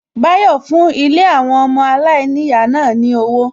Bayo fún Ilé àwọn ọmọ aláìníyàá náà ní owó